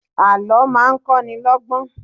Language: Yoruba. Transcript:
Àlọ́ máa ń kọ́ ni lọ́gbọ́n